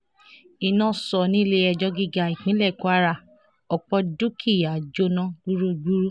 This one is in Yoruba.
iná sọ nílẹ̀-ẹjọ́ gíga ìpínlẹ̀ kwara ọ̀pọ̀ dúkìá jóná gbúgbúrú